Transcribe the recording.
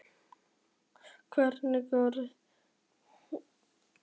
Hversu góðir eru Króatarnir?